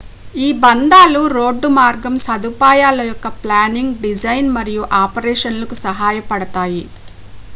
ఈ బంధాలు రోడ్డు మార్గం సదుపాయాల యొక్క ప్లానింగ్ డిజైన్ మరియు ఆపరేషన్ లకు సహాయపడతాయి